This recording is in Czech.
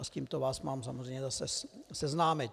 A s tímto vás mám samozřejmě zase seznámit.